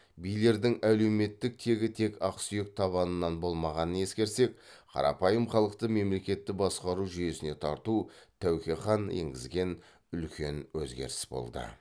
билердің әлеуметтік тегі тек ақсүйек табынан болмағанын ескерсек қарапайым халықты мемлекетті басқару жүйесіне тарту тәуке хан енгізген үлкен өзгеріс болды